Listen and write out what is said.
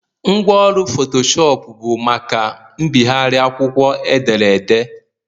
Ngwaọrụ fotocopi bụ maka mbịgharị akwụkwọ edere ede